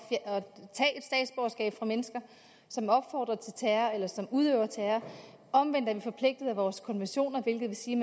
at tage fra mennesker som opfordrer til terror eller som udøver terror omvendt er vi forpligtet af vores konventioner hvilket vil sige